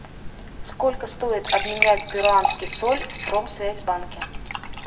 сколько стоит обменять перуанский соль в промсвязьбанке